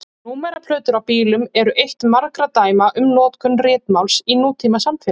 Númeraplötur á bílum eru eitt margra dæma um notkun ritmáls í nútímasamfélagi.